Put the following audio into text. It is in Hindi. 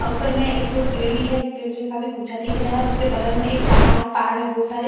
औ ऊपर में एक पेड़ भी है जो पेड़ जो काफी ऊंचा दिख रहा है उसके बगल में एक पहाड़ है पहाड़ में बहुत सारे --